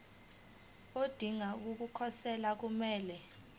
odinga ukukhosela kumele